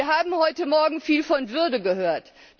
Wir haben heute Morgen viel von Würde gehört.